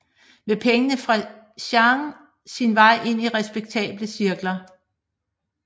Med pengene fik Jeanne sin vej ind i respektable cirkler